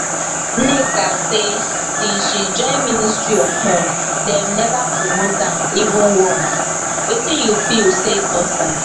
nneka say since she join ministry of health dem never promote am even once wetin you feel say cause am?